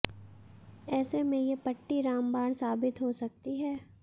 ऐसे में ये पट्टी रामबाण साबित हो सकती है